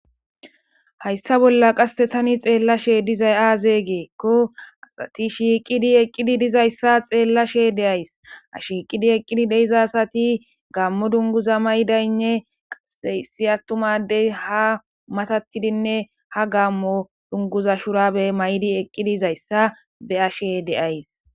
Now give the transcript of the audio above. Hayssa bolla qasse tani xeella she dizay aazey geekko asati shiiqidi eqqidi dizayssa xeella she de'ays a shiiqidi eqqidi deiza asati gaammo dunguza maydaynne qaseyssi attumadey ha matattidinne ha gammo dunguza shurabe may'di eqqidizayssa be ashe deays